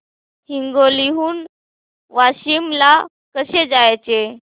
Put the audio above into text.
हिंगोली हून वाशीम ला कसे जायचे